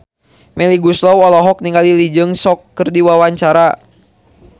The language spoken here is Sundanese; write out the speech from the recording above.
Melly Goeslaw olohok ningali Lee Jeong Suk keur diwawancara